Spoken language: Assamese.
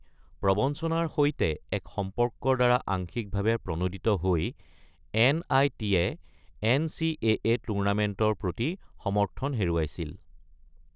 প্ৰৱঞ্চনাৰ সৈতে এক সম্পৰ্কৰ দ্বাৰা আংশিকভাৱে প্ৰণোদিত হৈ, এন.আই.টি.-য়ে এন.চি.এ.এ. টুৰ্ণামেণ্টৰ প্ৰতি সমৰ্থন হেৰুৱাইছিল।